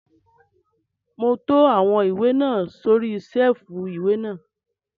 Mò ún to àwọn ìwé náà sórí sẹ́ẹ̀fù ìwé náà